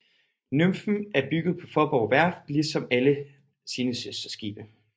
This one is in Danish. Nymfen er bygget på Faaborg Værft ligesom alle sine søsterskibe